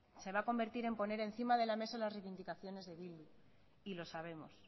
se va a convertir en poner encima de la mesa las reivindicaciones de bildu y lo sabemos